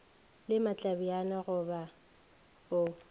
le matlebjane go be go